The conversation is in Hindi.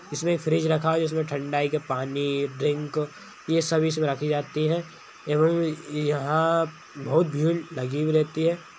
इसमें एक फ्रिज रखा है जिसमें ठंडाई के पानी ड्रिंक ये सभी इसमें रखी जाती है एवं यहाँ बहुत भीड़ लगी भी रहती है।